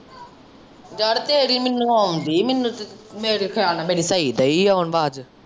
ਯਾਰ ਤੇਰੀ ਮੈਨੂੰ ਆਉਂਦੀ ਮੈਨੂੰ ਤੇ ਮੇਰੇ ਖਿਆਲ ਨਾਲ਼ ਮੇਰੀ ਸਹੀ ਦਈ ਆਉਣ ਆਵਾਜ਼।